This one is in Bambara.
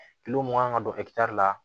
mun kan ka don la